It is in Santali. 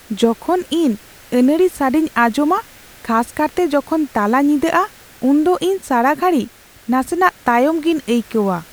ᱡᱚᱠᱷᱚᱱ ᱤᱧ ᱟᱹᱱᱟᱹᱲᱤ ᱥᱟᱰᱮᱧ ᱟᱸᱡᱚᱢᱟ, ᱠᱷᱟᱥ ᱠᱟᱨᱛᱮ ᱡᱚᱠᱷᱚᱱ ᱛᱟᱞᱟᱧᱤᱫᱟᱜᱼᱟ ᱩᱱᱫᱚ ᱤᱧ ᱥᱟᱲᱟᱜᱷᱟᱹᱲᱤ ᱱᱟᱥᱮᱱᱟᱜ ᱛᱟᱭᱚᱢ ᱜᱮᱧ ᱟᱹᱭᱠᱟᱹᱣᱟ ᱾